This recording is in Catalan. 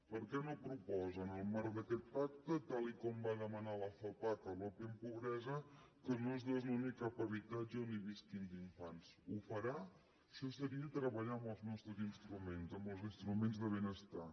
per què no proposa en el marc d’aquest pacte tal com va demanar la fapac a l’open pobresa que no es desnoni cap habitatge on visquin infants ho farà això seria treballar amb els nostres instruments amb els instruments de benestar